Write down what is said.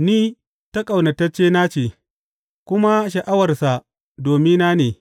Ni ta ƙaunataccena ce, kuma sha’awarsa domina ne.